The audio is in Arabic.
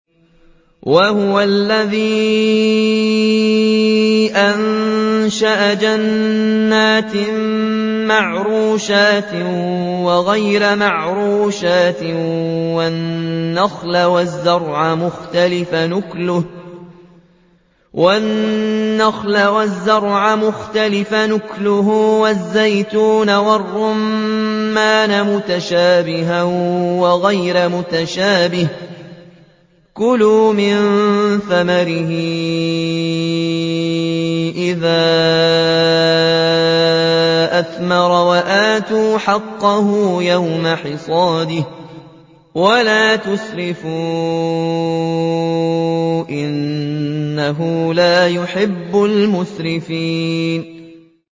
۞ وَهُوَ الَّذِي أَنشَأَ جَنَّاتٍ مَّعْرُوشَاتٍ وَغَيْرَ مَعْرُوشَاتٍ وَالنَّخْلَ وَالزَّرْعَ مُخْتَلِفًا أُكُلُهُ وَالزَّيْتُونَ وَالرُّمَّانَ مُتَشَابِهًا وَغَيْرَ مُتَشَابِهٍ ۚ كُلُوا مِن ثَمَرِهِ إِذَا أَثْمَرَ وَآتُوا حَقَّهُ يَوْمَ حَصَادِهِ ۖ وَلَا تُسْرِفُوا ۚ إِنَّهُ لَا يُحِبُّ الْمُسْرِفِينَ